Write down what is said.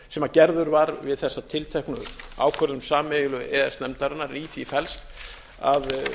sem gerður var við þessa tilteknu ákvörðun sameiginlegu e e s nefndarinnar en í því felst að